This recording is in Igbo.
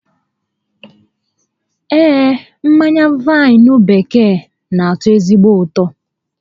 Ee, mmanya vaịnụ bekee n'atọ ezigbo ụtọ